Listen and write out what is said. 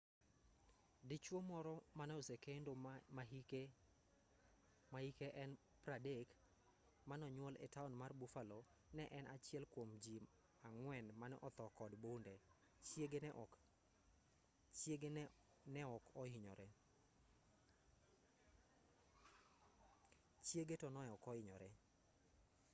dichuo moro manosekendo mahike 30 manonyuol etaon mar buffalo ne en achiel kuom jii ang'wen mane othoo kod bunde chiege to neok ohinyore